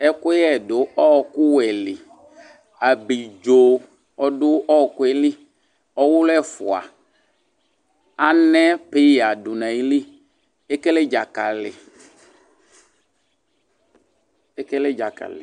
Ɛkʊyɛ dʊ ɔkʊwɛlɩ Abidzo ɔdʊ ɔkʊɛli Ɔwʊlʊ ɛfʊa Anɛ peya dʊ nayili Ekele dzakali